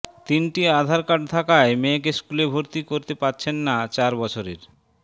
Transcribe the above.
তিনটি আধার কার্ড থাকায় মেয়েকে স্কুলে ভর্তি করতে পারছেন না চার বছরের